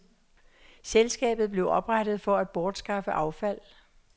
Selskabet blev oprettet for at bortskaffe affald.